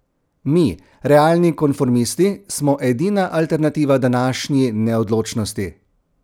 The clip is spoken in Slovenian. Mi, realni konformisti, smo edina alternativa današnji neodločnosti.